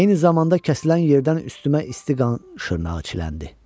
Eyni zamanda kəsilən yerdən üstümə isti qan şırnağı çiləndi.